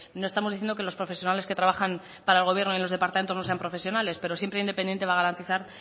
no estamos diciendo que los profesionales que trabajan para el gobierno y los departamentos no sean profesionales pero siempre independiente va a garantizar